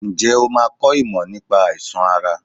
Ǹjẹ́ o máa kọ ìmọ̀ nípa àìsàn ara?